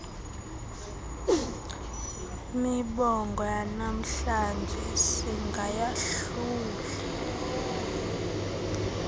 mibongo yanamhlanje singayahluli